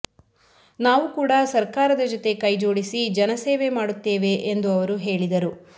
ನಾವು ಕೂಡ ಸರ್ಕಾರದ ಜತೆ ಕೈ ಜೋಡಿಸಿ ಜನಸೇವೆ ಮಾಡುತ್ತೇವೆ ಎಂದು ಅವರು ಹೇಳಿದರು